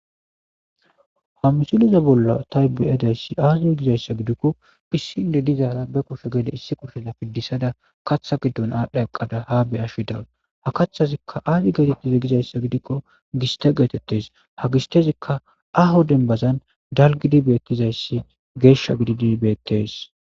hamusuliza bolla taybi7adayssi aazir gizayssa gidikko phissinde dizaara be kosho geede issi kursela piddisada katha giddon aadhdha eqqada ha bey ashi daws ha kaththazikka aazi geetettiza gizayssa gidikko giste geetettes ha gistezikka aho dembazan dalgidi beettizayssi geeshsha gididi beettes